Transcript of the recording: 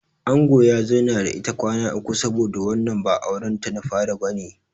Angon ya zauna da ita kwana uku saboda wannan ba auren ta na fari bane.